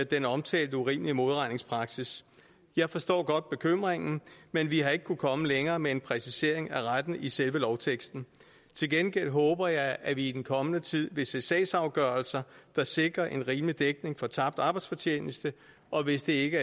den omtalte urimelige modregningspraksis jeg forstår godt bekymringen men vi har ikke kunnet komme længere med en præcisering af retten i selve lovteksten til gengæld håber jeg at vi i den kommende tid vil se sagsafgørelser der sikrer en rimelig dækning af tabt arbejdsfortjeneste og hvis det ikke